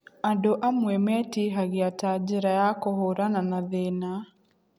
Andũ amwe metihagia ta njĩra ya kũhũrana na thĩna.